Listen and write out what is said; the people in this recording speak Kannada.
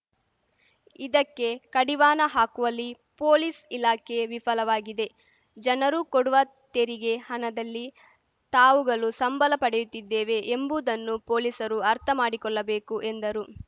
ಇದಕ್ಕೆ ಕಡಿವಾಣ ಹಾಕುವಲ್ಲಿ ಪೊಲೀಸ್‌ ಇಲಾಖೆ ವಿಫಲವಾಗಿದೆ ಜನರು ಕೊಡುವ ತೆರಿಗೆ ಹಣದಲ್ಲಿ ತಾವುಗಳು ಸಂಬಳ ಪಡೆಯುತ್ತಿದ್ದೇವೆ ಎಂಬುದನ್ನು ಪೊಲೀಸರು ಅರ್ಥ ಮಾಡಿಕೊಳ್ಳಬೇಕು ಎಂದರು